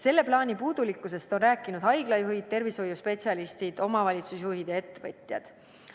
Selle plaani puudulikkusest on rääkinud haiglajuhid, tervishoiuspetsialistid, omavalitsusjuhid ja ettevõtjad.